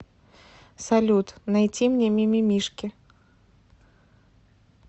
салют найти мне мимимишки